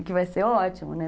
E que vai ser ótimo, né?